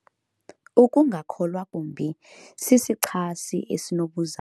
Ukungakholwa kwakhe yilaa ntombi sisichasi esinobuzaza.